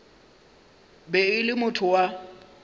be e le motho wa